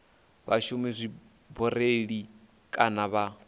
vha shumisa dzibureiḽi kana vha